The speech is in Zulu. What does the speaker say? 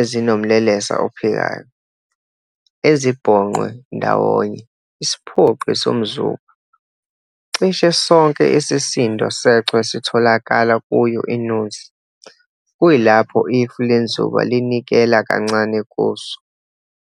ezinomlelesa ophikayo, ezibhonqwe ndawonye isiphoqi somzuba. Cishe sonke isisindo sechwe sitholakala kuyo inuzi, kuyilapho ifu lenzuba linikela kancane kuso.